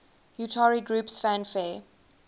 utari groups fanfare